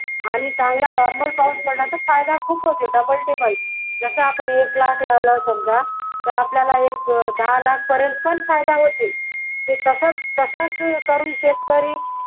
आणि जावा चांगला normal पाऊस पडला तर फायदा खूप होते double triple जसा आपण एक लाख लावला समजा तर आपल्याला एक दहा लाख पर्यंत पण फायदा होते ते तसंच तसंच करून शेतकरी